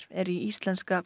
er í íslenska